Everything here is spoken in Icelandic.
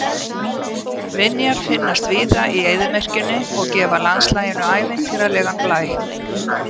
Vinjar finnast víða í eyðimörkinni og gefa landslaginu ævintýralegan blæ.